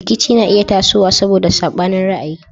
Rikici na iya tasowa saboda sabanin ra'ayi.